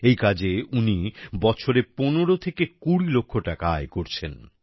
এই কাজে উনি বছরে পনেরো থেকে কুড়ি লক্ষ টাকা আয় করছেন